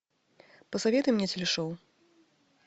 посоветуй мне телешоу